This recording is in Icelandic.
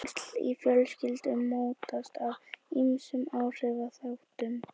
tengsl í fjölskyldum mótast af ýmsum áhrifaþáttum